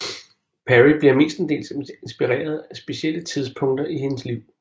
Perry bliver mestendels inspireret af specielle tidspunkter i hendes liv